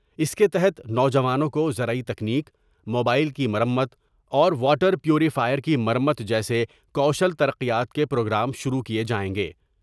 اس کے تحت نوجوانوں کو زرعی تکنیک ، موبائل کی مرمت اور واٹر پیوریفائر کی مرمت جیسےکوشل ترقیات کے پروگرام شروع کئے جائیں گے ۔